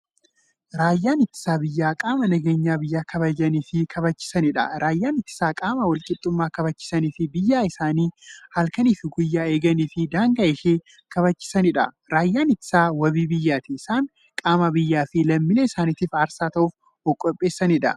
Raayyaan ittisa biyyaa qaama nageenya biyya kabajaniifi kabachiisaniidha. Raayyaan ittisaa qaama walqixxummaa kabachisaniifi biyyaa isaanii halkaniif guyyaa eeganiifi daangaa ishee kabachiisaniidha. Raayyaan ittisaa waabii biyyaati. Isaan qaama biyyaafi lammiilee isaanitiif aarsaa ta'uuf ofqopheessaniidha.